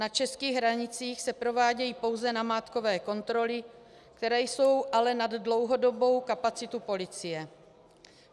Na českých hranicích se provádějí pouze namátkové kontroly, které jsou ale nad dlouhodobou kapacitu policie.